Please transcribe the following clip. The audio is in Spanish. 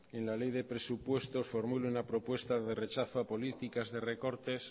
en la ley de presupuestos formule una propuesta de rechazo a políticas de recortes